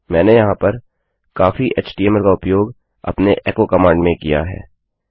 मैंने यहाँ पर काफी htmlएचटीएमएल का उपयोग अपनी echoएको कमांड में किया है